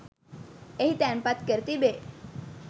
එහි තැන්පත් කර තිබේ.